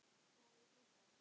Má ég hlusta?